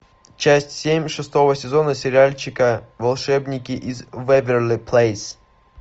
часть семь шестого сезона сериальчика волшебники из вэйверли плэйс